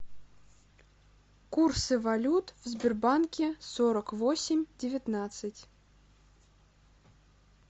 курсы валют в сбербанке сорок восемь девятнадцать